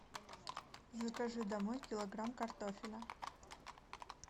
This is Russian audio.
закажи домой килограмм картофеля